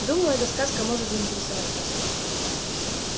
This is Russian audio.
думаю эта сказка может заинтересовать вас